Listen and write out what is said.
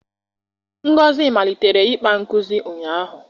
Ngozi malitere ịkpa nkuzi ụnyahụ